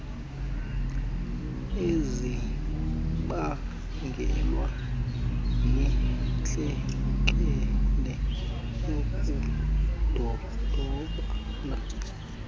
ezibangelwe yintlekele yokudodobala